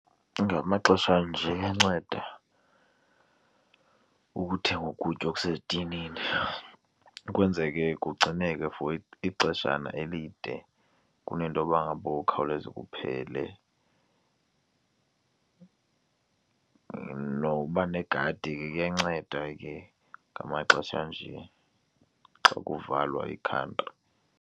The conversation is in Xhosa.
Ngamaxesha anje iyanceda ukuthenga ukutya okusethinini ukwenzeke kugcineke for ixeshana elide kunento yoba ngaba kukhawuleze kuphele. Noba negadi ke kuyanceda ke ngamaxesha anje, xa kuvalwa iikhantri.